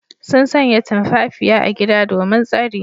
Sun sanya tumfafiya a gida domin tsari.